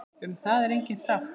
Um það er engin sátt.